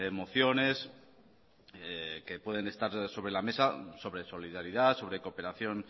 mociones que pueden estar sobre la mesa sobre solidaridad sobre cooperación